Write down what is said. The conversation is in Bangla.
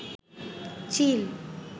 চিল